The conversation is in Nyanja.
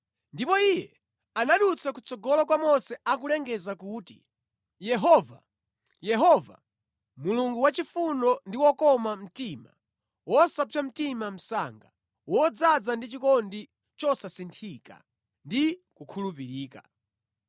Ndipo Iye anadutsa kutsogolo kwa Mose akulengeza kuti, “Yehova, Yehova, Mulungu wachifundo ndi wokoma mtima, wosapsa mtima msanga, wodzaza ndi chikondi chosasinthika ndi kukhulupirika,